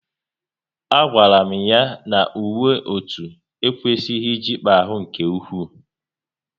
A gwara m ya na uwe otu ekwesịghị ịjikpa ahụ nke ụkwụ